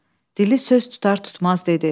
Dili söz tutar tutmaz dedi.